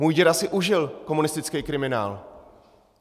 Můj děda si užil komunistický kriminál.